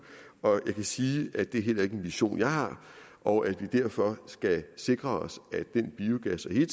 og jeg kan sige at det heller ikke er en vision jeg har og at vi derfor skal sikre os at den biogas og i